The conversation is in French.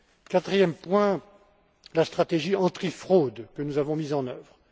Quatrième point la stratégie antifraude, que nous avons mise en œuvre.